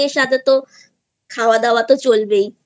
সাথে তো খাওয়াদাওয়া তো চলবেই